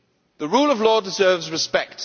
The rule of law deserves respect.